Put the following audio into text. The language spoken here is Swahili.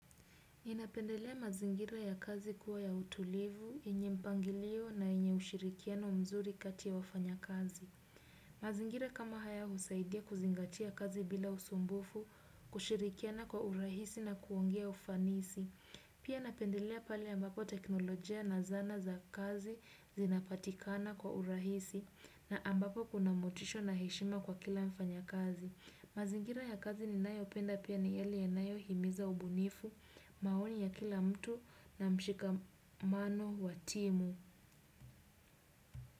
Inapendelea mazingira ya kazi kuwa ya utulivu, yenye mpangilio na yenye ushirikiano mzuri kati ya wafanya kazi. Mazingira kama haya husaidia kuzingatia kazi bila usumbufu, kushirikiana kwa urahisi na kuongea ufanisi. Pia napendelea pale ambapo teknolojia na zana za kazi zinapatikana kwa urahisi na ambapo kuna motisha na heshima kwa kila mfanyakazi. Mazingira ya kazi ninayopenda pia ni yale yanayohimiza ubunifu maoni ya kila mtu na mshikamano wa timu.